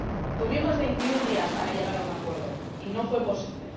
Dispusimos de veintiún días para llegar a un acuerdo y no fue posible